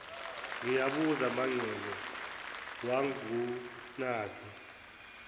ngiyabuza mangcobo wangunaza